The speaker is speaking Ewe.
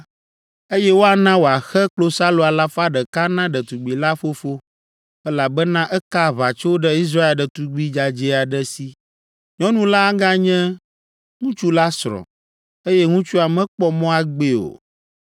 eye woana wòaxe klosalo alafa ɖeka na ɖetugbi la fofo, elabena eka aʋatso ɖe Israel ɖetugbi dzadzɛ aɖe si. Nyɔnu la aganye ŋutsu la srɔ̃, eye ŋutsua mekpɔ mɔ agbee o.